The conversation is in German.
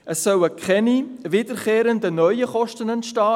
Es sollen keine wiederkehrenden neuen Kosten entstehen.